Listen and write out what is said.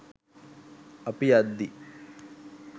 අපි යද්දි